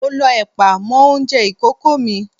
Mo lọ ẹ̀pà mọ́ oúnjẹ ìkókó mi.